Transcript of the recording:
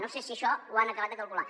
no sé si això ho han acabat de calcular